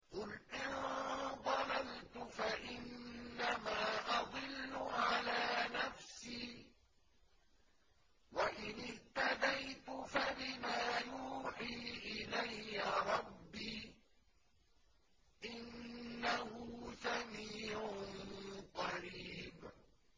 قُلْ إِن ضَلَلْتُ فَإِنَّمَا أَضِلُّ عَلَىٰ نَفْسِي ۖ وَإِنِ اهْتَدَيْتُ فَبِمَا يُوحِي إِلَيَّ رَبِّي ۚ إِنَّهُ سَمِيعٌ قَرِيبٌ